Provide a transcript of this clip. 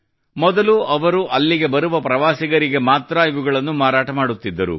ಮೊದಲು ಅವರು ಅಲ್ಲಿಗೆ ಬರುವ ಪ್ರವಾಸಿಗರಿಗೆ ಮಾತ್ರಾ ಇವುಗಳನ್ನು ಮಾರಾಟ ಮಾಡುತ್ತಿದ್ದರು